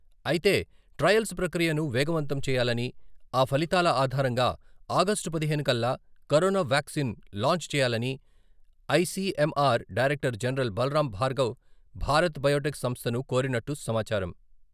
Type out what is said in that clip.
అయితే ట్రయల్స్ ప్రక్రియను వేగవంతం చేయాలని, ఆ ఫలితాల ఆధారంగా ఆగస్టు పదిహేను కల్లా కరోనా వ్యాక్సిన్ను లాంచ్ చేయాలని ICMR director general Balram Bhargav Bharat Biotech సంస్థను కోరినట్టు సమాచారం.